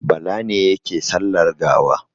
Bala ne yake sallar gawa.